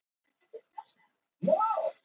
Þetta gat ekki verið neyðarlegra!